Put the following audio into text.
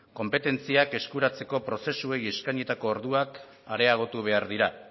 konpetentziak eskuratzeko prozesuei eskainitako orduak areagotu behar dira